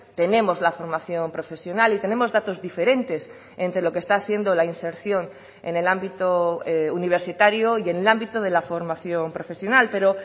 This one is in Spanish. tenemos la formación profesional y tenemos datos diferentes entre lo que está siendo la inserción en el ámbito universitario y en el ámbito de la formación profesional pero